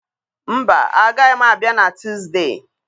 Mba, agaghị m abịa na Tuusdee.